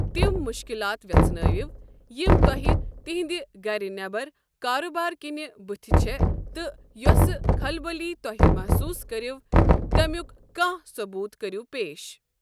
تِم مشكلات ویژھنٲوِو یم توہہِ تِہندِ گرٕ نیبر كاربارٕ كِنۍ بٕتھہِ چھ تہٕ یوسِہ خلبلی توہہِ محسوٗس كٕروٕ تمیک كانٛہہ ثبوٗت کٔرو پیش۔